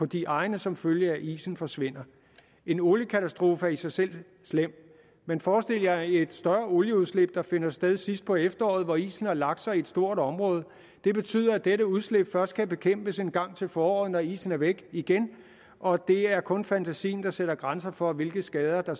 de egne som følge af at isen forsvinder en oliekatastrofe er i sig selv slem men forestil jer et større olieudslip der finder sted sidst på efteråret hvor isen har lagt sig i et stort område vil betyde at det udslip først kan bekæmpes engang til foråret når isen er væk igen og det er kun fantasien der sætter grænser for hvilke skader på